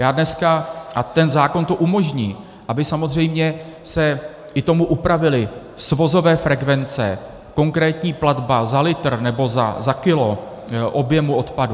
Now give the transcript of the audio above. Já dneska - a ten zákon to umožní, aby samozřejmě se i tomu upravily svozové frekvence, konkrétní platba za litr nebo za kilo objemu odpadu.